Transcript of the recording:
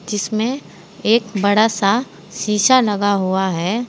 जिसमें एक बड़ा सा शीशा लगा हुआ है।